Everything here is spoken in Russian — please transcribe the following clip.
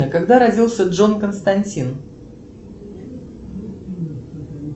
когда родился джон константин